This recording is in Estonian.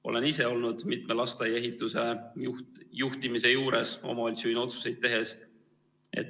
Olen ise omavalitsusjuhina otsuseid tehes olnud mitme lasteaia ehituse juhtimise juures.